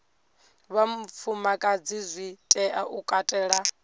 vhafumakadzi zwi tea u katela